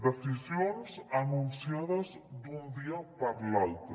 decisions anunciades d’un dia per l’altre